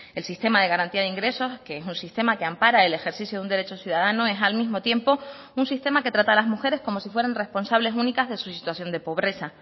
el sistema de garantía de ingresos que es un sistema que ampara el ejercicio de un derecho ciudadano es al mismo tiempo un sistema que trata a las mujeres como si fueran responsables únicas de su situación de pobreza